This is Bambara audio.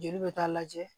Joli bɛ taa lajɛ